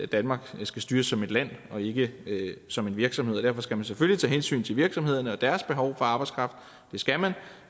danmark skal styres som et land og ikke som en virksomhed og derfor skal man selvfølgelig tage hensyn til virksomhederne og deres behov for arbejdskraft det skal man